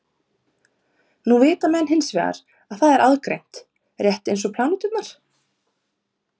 Nú vita menn hins vegar að það er aðgreint rétt eins og pláneturnar.